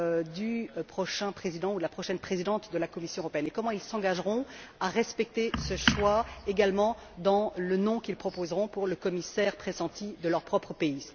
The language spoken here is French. du prochain président ou de la prochaine présidente de la Commission européenne, et comment ils s'engageront à respecter ce choix également dans le nom qu'ils proposeront pour le commissaire pressenti de leur propre pays.